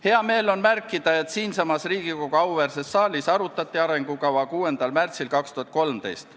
Hea meel on märkida, et siinsamas Riigikogu auväärses saalis arutati arengukava 6. märtsil 2013.